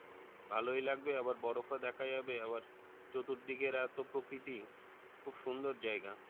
ভালই লাগবে আবার বরফ ও দ্যাখা যাবে আবার চতুর্দিকের এত প্রকৃতি খুব সুন্দর জাইগা